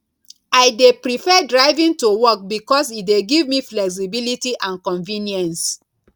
i dey prefer driving to work because e dey give me flexibility and convenience